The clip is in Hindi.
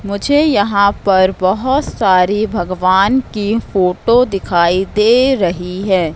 मुझे यहां पर बहोत सारी भगवान की फोटो दिखाई दे रही है।